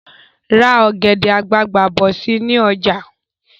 Ra ọ̀gẹ̀dẹ̀ àgbagbà bọ̀ si ni ọjà